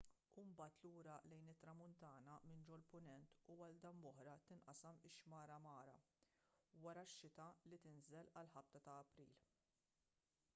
u mbagħad lura lejn it-tramuntana minn ġol-punent u għal darb'oħra tinqasam ix-xmara mara wara x-xita li tinżel għal ħabta ta' april